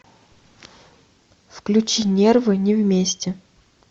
включи нервы не вместе